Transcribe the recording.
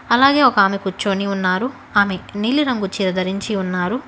అలాగే ఒక ఆమె కూర్చొని ఉన్నారు ఆమె నీలి రంగు చీర ధరించి ఉంది.